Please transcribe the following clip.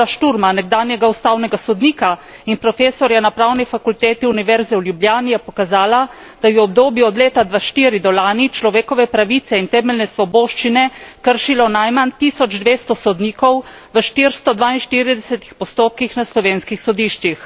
Lovra Šturma, nekdanjega ustavnega sodnika in profesorja na Pravni fakulteti Univerze v Ljubljani, je pokazala, da je v obdobju od leta 2004 do lani človekove pravice in temeljne svoboščine kršilo najmanj 1200 sodnikov v 442 postopkih na slovenskih sodiščih.